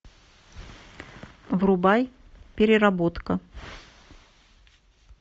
врубай переработка